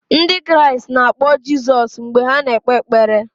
Ndị Kraịst na-akpọ Jizọs mgbe ha na-ekpe ekpere.